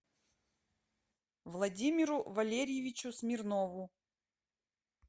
владимиру валерьевичу смирнову